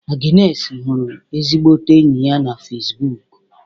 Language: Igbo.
Agnesi hụrụ ezigbote enyi ya na Fesbụụk